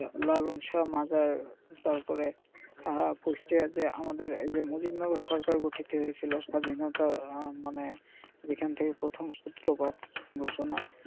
লালন শাহ এর মাজার তারপরে আহ কুষ্টিয়ার যে আমাদের মজিদনগর যে সরকার গঠিত হয়েছিল স্বাধীনতার মানে যেখান থেকে প্রথম সূত্রপাত সূচনা.